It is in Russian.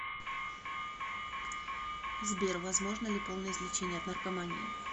сбер возможно ли полное излечение от наркомании